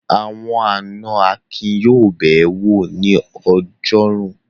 Àwọn àná Akin yóò bẹ̀ ẹ́ wò ní ọjọ́rú.